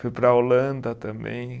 Fui para a Holanda também.